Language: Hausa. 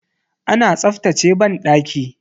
Ana tsaftace banɗaki.